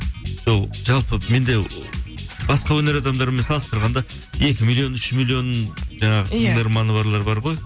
сол жалпы менде басқа өнер адамдарымен салыстырғанда екі миллион үш миллион жаңағы тыңдарманы барлар бар ғой